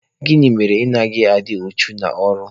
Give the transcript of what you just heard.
Gịnị mere na ị naghị adị uchu n'ọrụ?